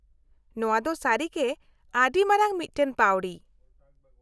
-ᱱᱚᱶᱟ ᱫᱚ ᱥᱟᱹᱨᱤᱜᱮ ᱟᱹᱰᱤ ᱢᱟᱨᱟᱝ ᱢᱤᱫᱴᱟᱝ ᱯᱟᱹᱣᱲᱤ !